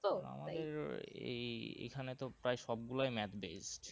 আমাদের ও এই এইখানে তো প্রায় সবগুলোই math based